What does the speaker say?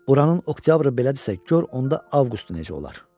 Buranın oktyabrı belədirsə, gör onda avqustu necə olar?